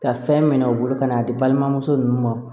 Ka fɛn minɛ u bolo ka n'a di balimamuso ninnu ma